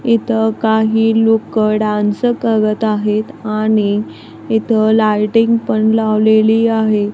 इथं काही लोकं डान्स करत आहेत आणि इथं लाइटिंग पण लावलेली आहे.